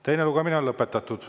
Teine lugemine on lõpetatud.